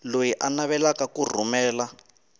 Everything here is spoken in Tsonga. loyi a navelaka ku rhumela